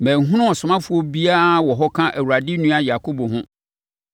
Manhunu ɔsomafoɔ biara wɔ hɔ ka Awurade nua Yakobo ho.